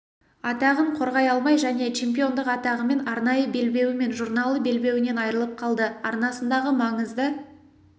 атағын қорғай алмай және чемпиондық атағымен арнайы белбеуі мен журналы белбеуінен айрылып қалды арнасындағы маңызды